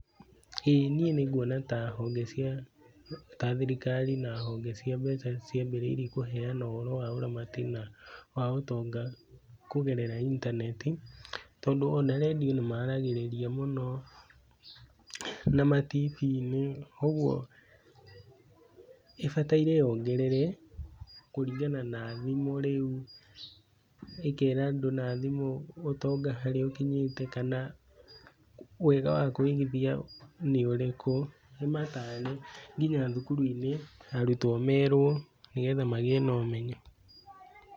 Ĩĩ niĩ nĩnguona ta thirikari na honge cia kũheana mbeca ciambĩrĩirie kũheana mbeca ciambĩrĩirie kũheana ũhoro wa ũramati wa mbeca na ũtonga kũgerera intaneti, tondũ ona redio nĩ maragĩrĩria mũno na ma TV-inĩ. ũguo, ĩbataire yongerere kũringana na thimũ rĩu. ĩkera andũ na thimũ harĩa ũtonga ũkinyĩte kana wega wa kũigithia nĩ ũrĩkũ nĩ mataare nginya thukuru-inĩ arutwo merwo nĩguo magĩe na ũmenyo.